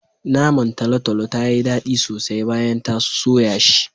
Naman talotalo tayi daɗi sosai bayan ta soya shi.